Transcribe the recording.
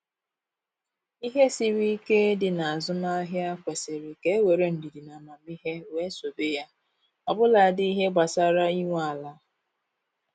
Ihe siri ike dị n'azụmahia kwesịrị ka e were ndidi na amamihe wee sobe ya, ọbụladị ihe gbasara inwe ala